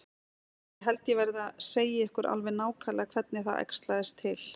Ég held ég verði að segja ykkur alveg nákvæmlega hvernig það æxlaðist til.